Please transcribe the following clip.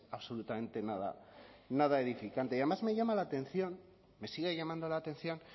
absolutamente nada nada edificante y además me llama la atención me sigue llamando la atención